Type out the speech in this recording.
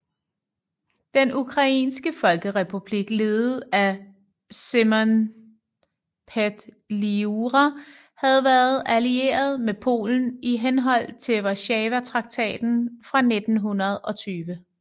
Den ukrainske folkerepublik ledet af Symon Petliura havde været allieret med Polen i henhold til Warszawa traktaten fra 1920